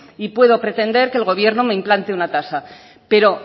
y puedo pretender que el gobierno me implante una tasa pero